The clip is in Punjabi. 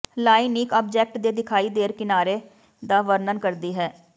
ਲਾਈਨ ਇੱਕ ਆਬਜੈਕਟ ਦੇ ਦਿਖਾਈਦਾਰ ਕਿਨਾਰੇ ਦਾ ਵਰਣਨ ਕਰਦੀ ਹੈ